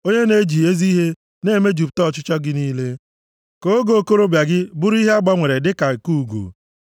onye na-eji ezi ihe na-emejupụta ọchịchọ gị niile, ka oge okorobịa gị bụrụ ihe a gbanwere dịka nke ugo. + 103:5 Ugo Ọ bụ ịdị ike na ndụ ogologo ka e ji mara nnụnụ ugo.